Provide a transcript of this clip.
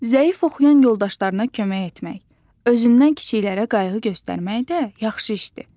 Zəif oxuyan yoldaşlarına kömək etmək, özündən kiçiklərə qayğı göstərmək də yaxşı işdir.